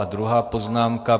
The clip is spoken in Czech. A druhá poznámka.